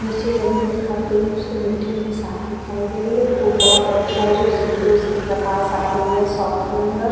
नीचे जमीन दिखाई दे रही है उसकी मिट्टी हमें साफ दिखाई दे रही है धूप बहुत अच्छा है जो सीधे उसकी प्रकाश आ रही है शॉप के अंदर --